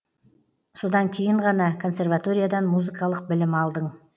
содан кейін ғана консерваториядан музыкалық білім алдың